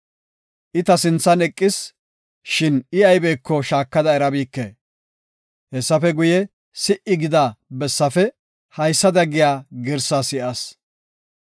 I ta sinthan eqis; shin I aybeko shaakada erabike. Hessafe guye, si77i gida bessafe haysada giya girsaa si7as.